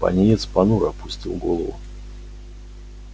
пониетс понуро опустил голову